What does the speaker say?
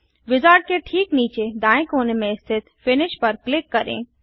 wizard के ठीक नीचे दाएँ कोने में स्थित फिनिश पर क्लिक करें